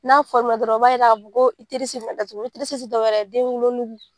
N'a fɔ dɔrɔn i b'a ye ka fɔ ko bɛna datugu tɛ dɔwɛrɛ ye den wolo nugu.